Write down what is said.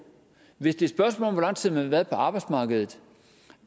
hvis det spørgsmål om hvor lang tid man har været på arbejdet